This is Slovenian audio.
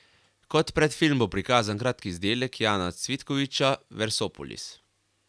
Kot predfilm bo prikazan kratki izdelek Jana Cvitkoviča Versopolis.